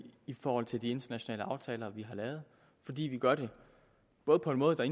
i forhold til de internationale aftaler vi har lavet fordi vi gør det både på en måde der